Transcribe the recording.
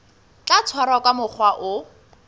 tla tshwarwa ka mokgwa o